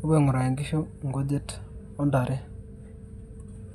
apuuo aing'uraki nkishu inkujit o ntare.